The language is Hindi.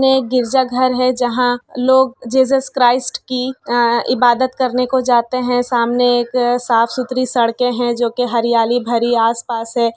गिरजा घर है जहाँ लोग जीसस क्राइस्ट की इबादत करने को जाते हैं सामने एक साफ सुथरी सड़के हैं जो के हरियाली भारी आस-पास है।